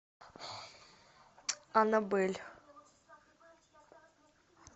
аннабель